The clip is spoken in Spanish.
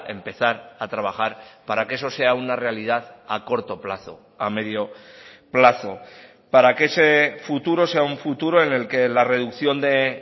empezar a trabajar para que eso sea una realidad a corto plazo a medio plazo para que ese futuro sea un futuro en el que la reducción de